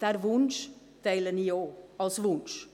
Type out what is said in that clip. Diesen Wunsch teile ich auch – als Wunsch.